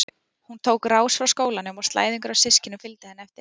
Hún tók á rás frá skólanum og slæðingur af systkinum fylgdi henni eftir.